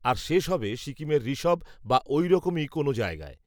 আর শেষ হবে সিকিমের ঋষভ, বা, ওইরকমই কোনও জায়গায়